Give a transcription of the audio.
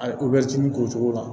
A ye k'o cogo la